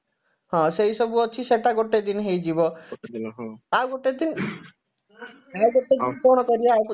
ହଁ ସେଇସବୁ ଅଛି ସେଇଟା ଗୋଟେ ଦିନ ହେଇଯିବ ଆଉ ଗୋଟେ ଦିନ ଆଉ ଗୋଟେ ଦିନ କଣ କରିବା